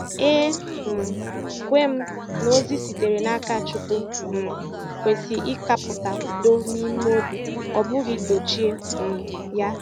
E um kwè m na ozi sitere n’aka Chukwu um kwesị ịkàpụta udo n’ime obi, ọ bụghị dochie um ya.